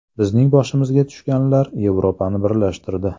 Bizning boshimizga tushganlar Yevropani birlashtirdi.